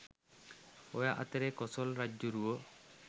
ඔය අතරේ කොසොල් රජ්ජුරුවෝ